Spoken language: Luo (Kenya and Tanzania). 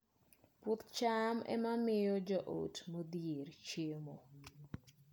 Puoth cham ema miyo joot modhier chiemo